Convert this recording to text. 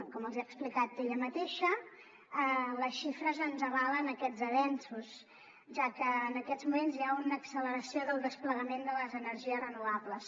com els hi ha explicat ella mateixa les xifres ens avalen aquests avenços ja que en aquests moments hi ha una acceleració del desplegament de les energies renovables